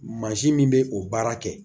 Mansin min bɛ o baara kɛ